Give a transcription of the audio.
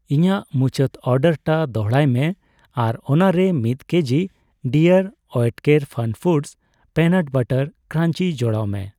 ᱤᱧᱟᱜ ᱢᱩᱪᱟᱹᱫ ᱚᱨᱰᱟᱨᱴᱟᱜ ᱫᱚᱲᱦᱟᱭ ᱢᱮ ᱟᱨ ᱚᱱᱟᱨᱮ ᱢᱤᱛ ᱠᱮᱡᱤ ᱰᱤᱟᱨᱹ ᱳᱭᱮᱴᱠᱮᱨ ᱯᱷᱟᱱᱯᱷᱩᱰᱚᱥ ᱚᱤᱱᱟᱴ ᱵᱟᱨᱟᱴ ᱠᱨᱟᱧᱡᱤ ᱡᱚᱲᱟᱣ ᱢᱮ ᱾